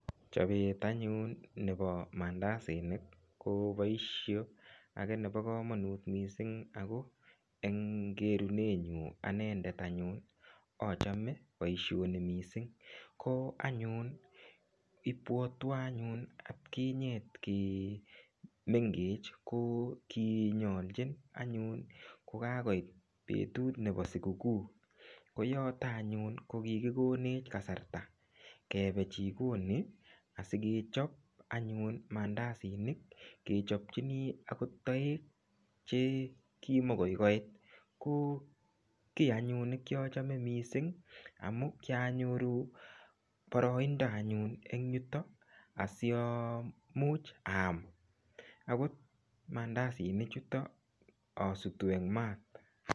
Chobet anyun nebo mandasinik koboisio age nebo kamanut mising ago eng kerunenyun anendet anyun, achome boisioni mising. Ko anyun ibwotyo anyun atkinye kimengech kokinyolchin anyun kokakoit betut nebo siguguu. Koyoto anyun ko kikikonech kasarta kebe jikoni asigechop anyun mandasinik kechopchinj agot toek che kimuikoikoit. Ko kiy anyun nekiachome mising amu kianyoru boroindo anyun eng yutok asiamuch aam ogot mandasinichuto asutu eng maat.